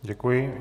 Děkuji.